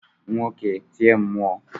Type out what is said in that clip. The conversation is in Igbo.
woke tie mmụọ!